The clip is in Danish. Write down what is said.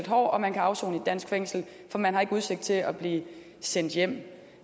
hård og man kan afsone i dansk fængsel for man har ikke udsigt til at blive sendt hjem